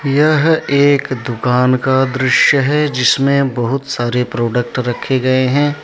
यह एक दुकान का दृश्य है जिसमें बहुत सारे प्रोडक्ट रखे गए हैं।